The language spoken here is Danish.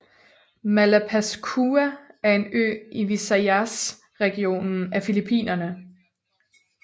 Malapascua er en ø i Visayas regionen af Filippinerne